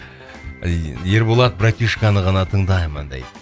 ыыы ерболат братишканы ғана тыңдаймын дейді